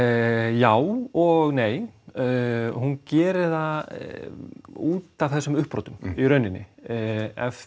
já og nei hún gerir það út af þessum uppbrotum í rauninni ef